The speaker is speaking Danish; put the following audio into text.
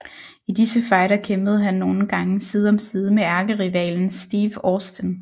I disse fejder kæmpede han nogle gang side om side med ærkerivalen Steve Austin